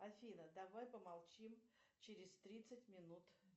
афина давай помолчим через тридцать минут